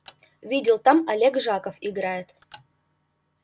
видел там олег жаков играет